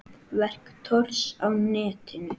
Verk Thors á netinu